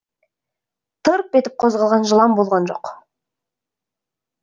тырп етіп қозғалған жылан болған жоқ